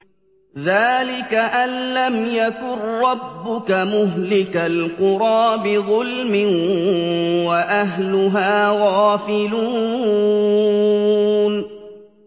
ذَٰلِكَ أَن لَّمْ يَكُن رَّبُّكَ مُهْلِكَ الْقُرَىٰ بِظُلْمٍ وَأَهْلُهَا غَافِلُونَ